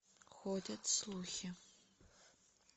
ходят слухи